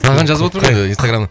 саған жазып отыр ғой ы инстаграм